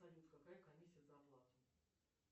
салют какая комиссия за оплату